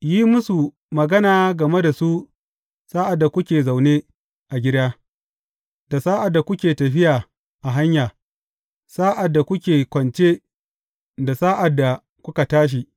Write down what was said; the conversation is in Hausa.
Yi musu magana game da su sa’ad da kuke zaune a gida, da sa’ad da kuke tafiya a hanya, sa’ad da kuke kwance, da sa’ad da kuka tashi.